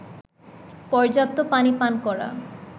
পর্যাপ্ত পানি পান করা